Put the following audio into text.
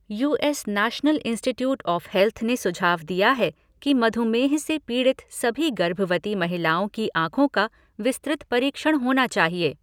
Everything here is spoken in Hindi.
You S National Institute of Health ने सुझाव दिया है कि मधुमेह से पीड़ित सभी गर्भवती महिलाओं की आँखों का विस्तृत परीक्षण होना चाहिए।